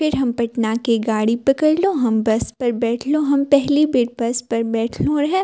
फिर हम पटना के गाड़ी पकड़लो हम बस पर बैठलो हम पहली बेर बस पर बैठलो हे।